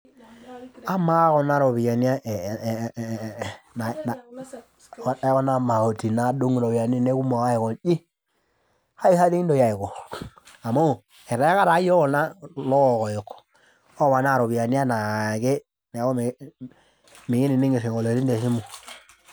Amaa kunaropiyani ee ekuna mauti nadung ropiyani ainiei aikonji kai sa toi kintoki aiko amu eteeka taa yiok kulo kokoyok oponaaropiyani anaake neaku mikii mikinining isingolioni tesimu.